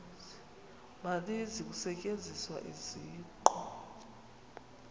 maninzi kusetyenziswa isiqu